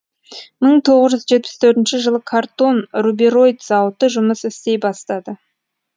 мың тоғыз жүз жетпіс төртінші жылы картон рубероид зауыты жұмыс істей бастады